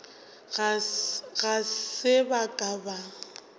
ga se ba ka ba